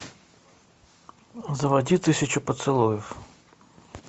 заводи тысячу поцелуев